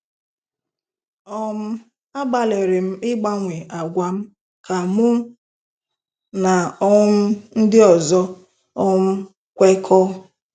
um “Agbalịrị m ịgbanwe àgwà m ka mụ na um ndị ọzọ um kwekọọ.